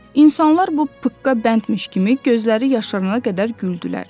İnsanlar bu pıqqa bəndmiş kimi gözləri yaşarana qədər güldülər.